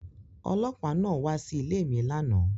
Ọlọ́pàá náà wá Sí ilé mí lànà